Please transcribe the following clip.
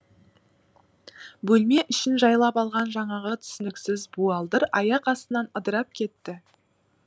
бөлме ішін жайлап алған жаңағы түсініксіз буалдыр аяқ астынан ыдырап кетті